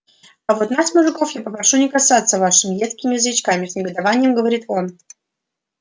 а вот нас мужиков я попрошу не касаться вашими едкими язычками с негодованием говорит он